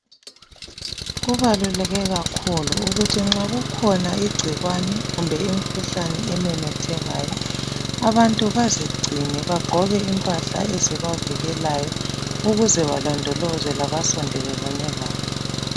Kubaluleke kakhulu ukuthi nxa kukhona igcikwane kumbe imikhuhlane ememethekayo, abantu bazigcine bagqoke impahla ezibavikelayo ukuze balondoloze labasondelelane labo.